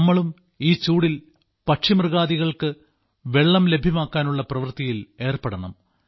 നാമും ഈ ചൂടിൽ പക്ഷിമൃഗാദികൾക്ക് വെള്ളം ലഭ്യമാക്കാനുള്ള പ്രവൃത്തിയിൽ ഏർപ്പെടണം